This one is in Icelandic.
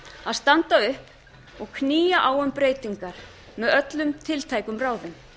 að standa upp og knýja á um breytingar með öllum tiltækum ráðum